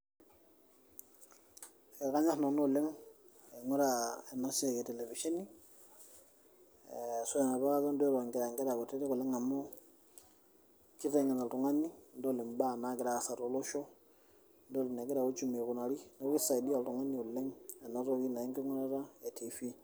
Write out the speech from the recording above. ekanyor nanu oleng' aing'ura enasiai etelevisheni ,amu kiteng'en oltung'ani enegira uchumi aikunari.